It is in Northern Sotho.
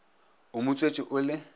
o mo tswetše o le